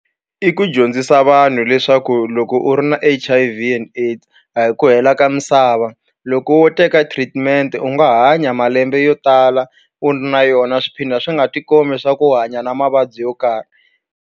I ku dyondzisa vanhu leswaku loko u ri na H_I_V and AIDS a hi ku hela ka misava loko wo teka treatment u nga hanya malembe yo tala u ri na yona swi phinda swi nga tikombi swa ku u hanya na mavabyi yo karhi.